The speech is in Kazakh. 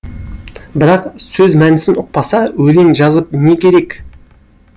бірақ сөз мәнісін ұқпаса өлең жазып не керек